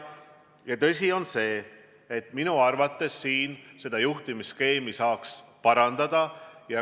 Ja tõsi on see, et minu arvates saaks siin juhtimisskeemi parandada.